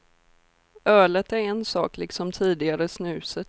Ölet är en sak, liksom tidigare snuset.